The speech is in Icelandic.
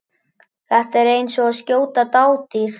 Þetta var bara eins og að skjóta dádýr.